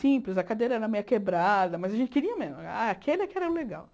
Simples, a cadeira era meio quebrada, mas a gente queria mesmo, aquele que era legal.